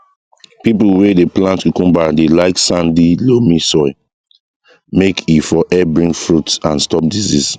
people wey dey plant cucumber dey like sandy loamy soil make e for help bring fruit and stop disease